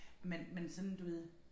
Men men sådan du ved